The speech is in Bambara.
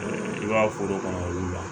I b'a foro kɔnɔ olu la